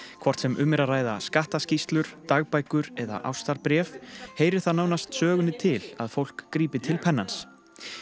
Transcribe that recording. hvort sem um er að ræða skattaskýrslur dagbækur eða ástarbréf heyrir það nánast sögunni til að fólk grípi til pennans